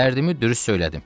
Dərdimi dürüst söylədim.